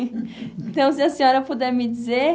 Então, se a senhora puder me dizer...